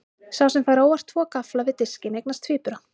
Sá sem fær óvart tvo gaffla við diskinn eignast tvíbura.